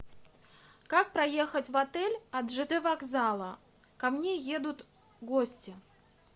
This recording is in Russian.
как проехать в отель от жд вокзала ко мне едут гости